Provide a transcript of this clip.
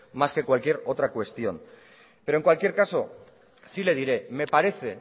más que de cualquier otra cuestión pero en cualquier caso sí le diré que me parece